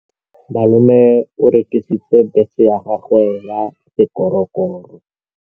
Malome o rekisitse bese ya gagwe ya sekgorokgoro.